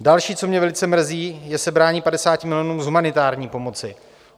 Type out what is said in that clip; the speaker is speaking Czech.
Další, co mě velice mrzí, je sebrání 50 milionů z humanitární pomoci.